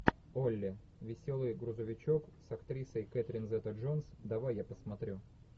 олли веселый грузовичок с актрисой кэтрин зета джонс давай я посмотрю